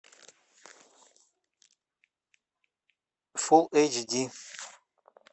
фулл эйч ди